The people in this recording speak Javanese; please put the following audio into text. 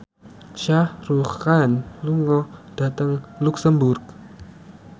Shah Rukh Khan lunga dhateng luxemburg